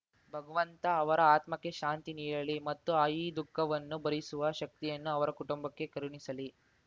ಭಗವಂತ ಅವರ ಆತ್ಮಕ್ಕೆ ಶಾಂತಿ ನೀಡಲಿ ಮತ್ತು ಆ ಈ ದುಃಖವನ್ನು ಭರಿಸುವ ಶಕ್ತಿಯನ್ನು ಅವರ ಕುಟುಂಬಕ್ಕೆ ಕರುಣಿಸಲಿ